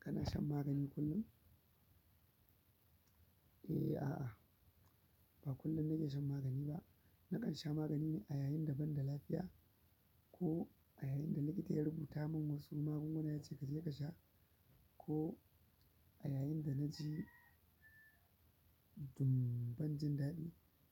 Kana shan magani kullum? Eh, a'a, ba kullum nake shan magani ba. Nakan sha magani ne a yayin da ban da lafiya ko a yayin da likita ya rubuta min wasu magunguna ya ce ka je ka sha, ko a yayin da na je dun ban jin daɗi.